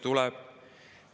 Tuleb!